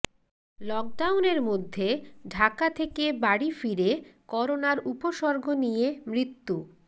লকডাউনের মধ্যে ঢাকা থেকে বাড়ি ফিরে করোনার উপসর্গ নিয়ে মৃত্যু